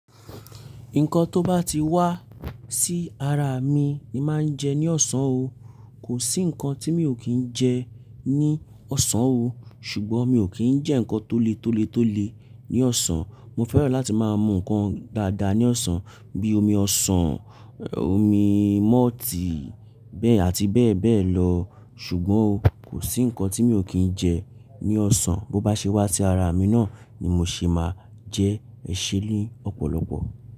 Nǹkan tó bá ti wá sí ara mi ni máa ń jẹ ní ọ̀sán o. Kò sí nǹkan tí mi ò kí ń jẹ ní ọ̀sán o. Ṣùgbọ́n mi ò kí ń jẹ́ nǹkan tóle tóle tóle ní ọ̀sán. Mo fẹ́ràn láti máa mú nǹkan dáadáa ní ọ̀sán bi ómi ọ̀sán, omi mọ́ọ̀tì bẹ́ẹ̀ àti bẹ́ẹ̀ bẹ́ẹ̀ lọ. Ṣùgbọ́n o, kò sí nǹkan tí mi ò kí ń jẹ ní ọ̀sán bó bá ṣe wá sí ara mi náà ni mo ṣe máa jẹ ẹ́ ṣẹ́ ni ọ̀pọ̀lọpọ̀